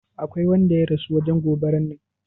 Aƙwai wanda ya rasu wajen goɓaran nan?